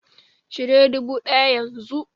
Cire dubu ɗaya yanzu!